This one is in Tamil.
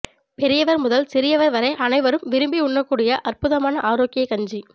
பெரியவர் முதல் சிறியவர் வரை அனைவரும் விரும்பி உண்ணக்கூடிய அற்புதமான ஆரோக்கியக் கஞ்சி